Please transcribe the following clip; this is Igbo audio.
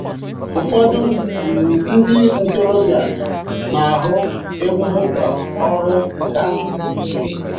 Ụfọdụ um ndị ntorobịa na-ahụ egbugbu ka ọrụ nkà.